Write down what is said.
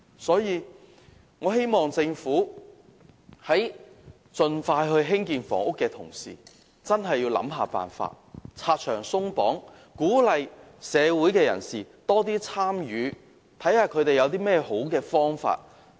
所以，我希望政府在盡快興建房屋的同時，真的想辦法拆牆鬆綁，鼓勵社會人士多提建議，看看他們有何好的方法。